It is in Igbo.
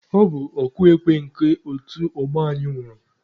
Ọ bụ ọkụ ekwe nke otu ọgbọ anyị nwụrụ.